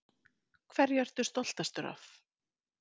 Hverju ertu stoltastur af?